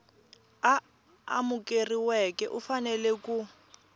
a amukeriweke u fanele ku